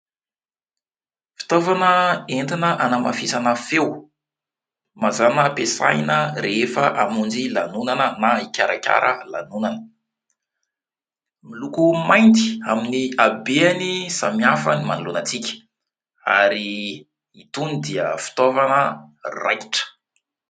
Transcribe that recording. Fitaovana entina hanamafisana feo mazana hampiasaina rehefa hamonjy lanonana na hikarakara lanonana, miloko mainty amin'ny habeany samy hafa ny manoloana antsika, ary itony dia fitaovana raitra.